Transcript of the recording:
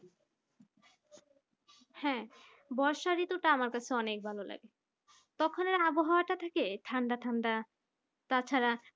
হ্যাঁ বর্ষা ঋতুটা আমার কাছে অনেক ভালো লাগে তখন এর আবহাওয়াটা থাকে ঠান্ডা ঠান্ডা তা ছাড়া